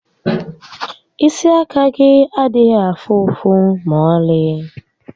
Isi àkà gị adịghị afụ ụfụ ma ọlị